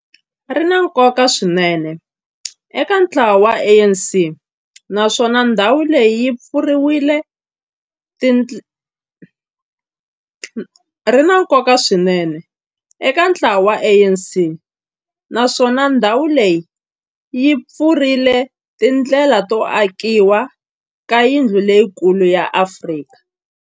Ri na nkoka swinene eka ntlawa wa ANC, naswona ndhawu leyi yi pfurile tindlela to akiwa ka yindlu leyikulu ya Afrika.